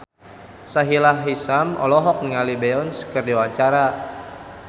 Sahila Hisyam olohok ningali Beyonce keur diwawancara